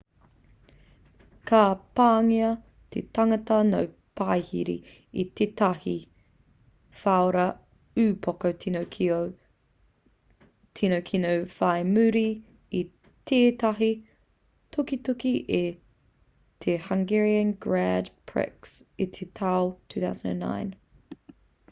ka pāngia te tangata no parihi e tētahi whara upoko tino kino whai muri i tētahi tukituki i te hungarian grand prix i te tau 2009